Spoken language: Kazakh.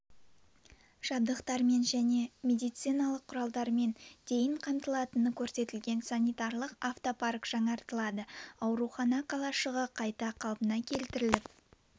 жақбықтармен және медициналық құралдармен дейін қамтылатыны көрсетілген санитарлық автопарк жаңартылады аурухана қалашығы қайта қалпына келтіріліп